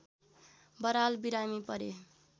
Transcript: बराल बिरामी परे